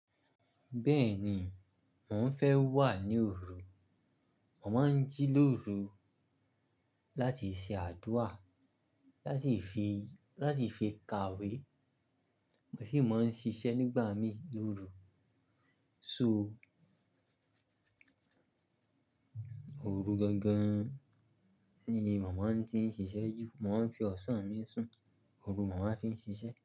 Bẹ́ẹ̀ni, mò ń fẹ́ wà ní òru, màá ń jí lóru láti ṣe àdúà, láti fi, láti fi kàwé, mo sì máa ń ṣiṣẹ́ nígbà mí lóru. So òru gangan ni màmá ń ti ń ṣiṣẹ́ jù. Mo máa ń fi ọ̀sán mi sùn, òru màmá fi ń ṣiṣẹ́.